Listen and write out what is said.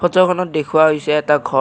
খনত দেখুওৱা হৈছে এটা ঘৰ।